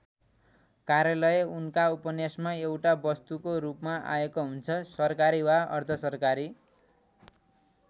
कार्यालय उनका उपन्यासमा एउटा वस्तुको रूपमा आएको हुन्छ सरकारी वा अर्धसरकारी।